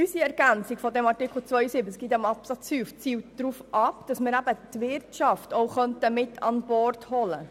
Unsere Ergänzung des Artikels 72 in diesem Absatz 5 zielt darauf ab, auch die Wirtschaft an Bord zu holen.